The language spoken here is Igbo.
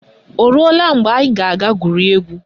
Oruola mgbe anyị ga-aga gwurie egwu?